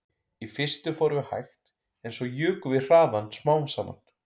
Í fyrstu fórum við hægt en svo jukum við hraðann smám saman